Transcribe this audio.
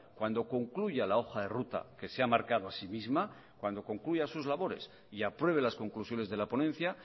cuando concluya la hoja de ruta que se ha marcado a sí misma cuando concluya sus labores y apruebe las conclusiones de la ponencia